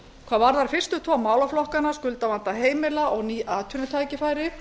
hvað varðar fyrstu tvo málaflokkana skuldavanda heimila og ný atvinnutækifæri